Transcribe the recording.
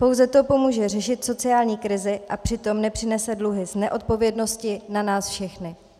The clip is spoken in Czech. Pouze to pomůže řešit sociální krizi a přitom nepřenese dluhy z neodpovědnosti na nás všechny.